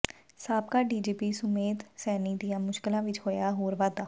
ਸਾਬਕਾ ਡੀਜੀਪੀ ਸੁਮੇਧ ਸੈਣੀ ਦੀਆਂ ਮੁਸ਼ਕਲਾਂ ਵਿੱਚ ਹੋਇਆ ਹੋਰ ਵਾਧਾ